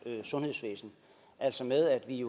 sundhedsvæsen altså med at vi